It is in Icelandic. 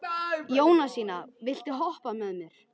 Jónasína, viltu hoppa með mér?